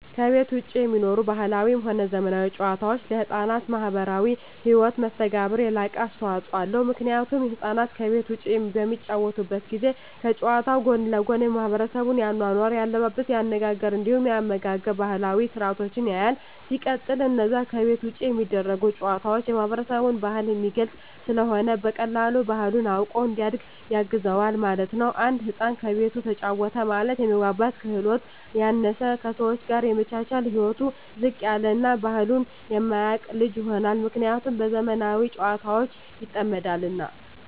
ከቤት ዉጪ የሚኖሩ ባህላዊም ሆነ ዘመናዊ ጨዋታወች ለሕፃናት ማህበራዊ ህይወት መስተጋብር የላቀ አስተዋጾ አለዉ ምክንያቱም ህፃናት ከቤት ዉጪ በሚጫወቱበት ጊዜ ከጨዋታዉ ጎን ለጎን የማሕበረሰቡን የአኗኗር፣ የአለባበስ፤ የአነጋገር እንዲሁም የአመጋገብ ባህላዊ ስርአቶችን ያያል። ሲቀጥል አነዛ ከቤት ዉጪ የሚደረጉ ጨዋታወች የማህበረሰብን ባህል የሚገልጽ ስለሆነ በቀላሉ ባህሉን አዉቆ እንዲያድግ ያግዘዋል ማለት ነዉ። አንድ ህፃን ከቤቱ ተጫወተ ማለት የመግባባት ክህሎቱ ያነሰ፣ ከሰወች ጋር የመቻቻል ህይወቱ ዝቅ ያለ እና ባህሉን የማያቅ ልጅ ይሆናል። ምክንያቱም በዘመናዊ ጨዋታወች ይጠመዳልና።